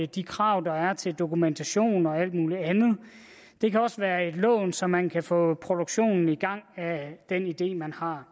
de krav der er til dokumentation og alt muligt andet det kan også være i forbindelse et lån så man kan få produktionen af den idé man har